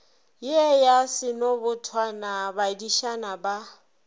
ye ya senobotwane badišana ba